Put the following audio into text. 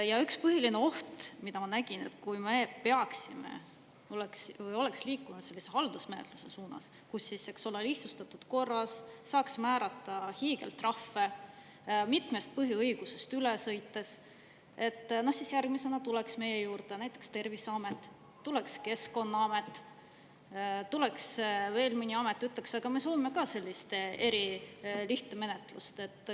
Ja üks põhiline oht, mida ma nägin, et kui me peaksime või oleks liikunud sellise haldusmenetluse suunas, kus siis lihtsustatud korras saaks määrata hiigeltrahve mitmest põhiõigusest üle sõites, siis järgmisena tuleks meie juurde näiteks Terviseamet, tuleks Keskkonnaamet, tuleks veel mõni amet ja ütleks, aga me soovime ka sellist erilihtmenetlust.